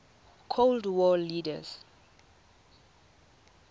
cold war leaders